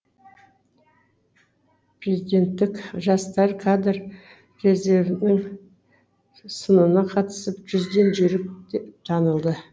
президенттік жастар кадр резервінің сынына қатысып жүзден жүйрік деп танылды